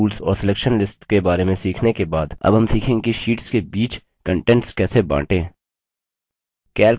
fill tools और selection lists के share में सीखने के बाद अब हम सीखेंगे कि शीट्स के बीच content कैसे बांटें